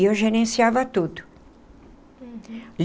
E eu gerenciava tudo. Uhum.